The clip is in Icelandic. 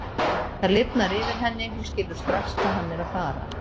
Það lifnar yfir henni, hún skilur strax hvað hann er að fara.